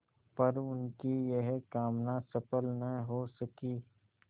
पर उनकी यह कामना सफल न हो सकी